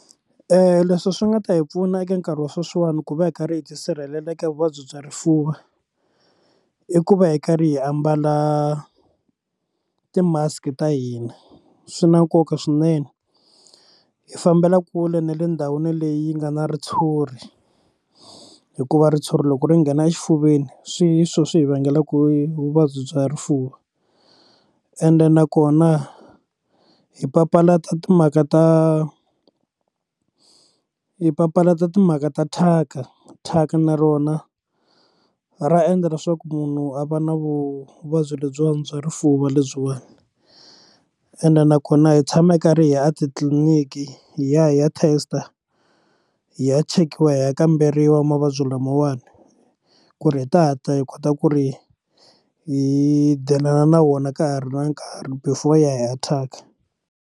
Leswi swi nga ta hi pfuna eka nkarhi wa sweswiwani ku va hi karhi hi tisirhelela eka vuvabyi bya rifuva i ku va hi karhi hi ambala ti mask ta hina swi na nkoka swinene hi fambela kule na le ndhawini leyi nga na ritshuri hikuva ritshuri loko ri nghena exifuveni swi hi swona swi hi vangelaka i vuvabyi bya rifuva ende nakona hi papalata timhaka ta hi papalata timhaka ta thyaka thyaka na rona ra endla leswaku munhu a va na vuvabyi lebyiwani bya rifuva lebyiwani ende nakona hi tshama hi karhi hi ya a titliliniki hi ya hi ya test hi ya chekiwa hi ya kamberiwa mavabyi lamawani ku ri hi ta hatla hi kota ku ri hi dilana na wona ka ha ri na nkarhi before hi ya hi ya thyaka.